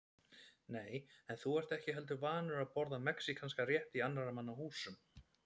Nei, en þú ert ekki heldur vanur að borða mexíkanskan rétt í annarra manna húsum